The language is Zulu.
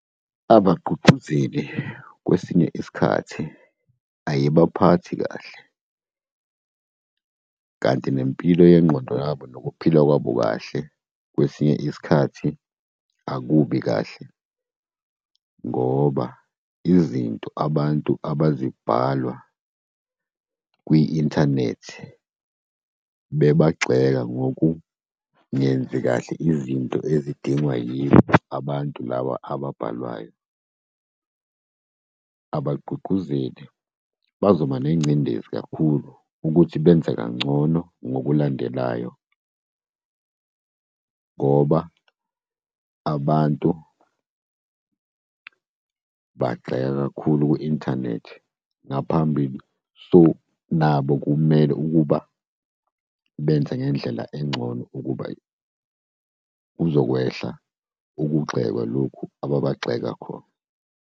Abagqugquzeli kwesinye isikhathi ayibaphathi kahle, kanti nempilo yengqondo yabo nokuphila kwabo kahle kwesinye isikhathi akubi kahle, ngoba izinto abantu abazibhala kwi-inthanethi bebagxeka ngokungenzi kahle izinto ezidingwa yibo abantu laba ababhalwayo. Abagqugquzeli bazoba nengcindezi kakhulu ukuthi benze kangcono ngokulandelayo ngoba abantu bagxeka kakhulu ku-inthanethi ngaphambili. So, nabo kumele ukuba benze ngendlela engcono ukuba kuzokwehla ukugxekwa lokhu ababagxeka khona.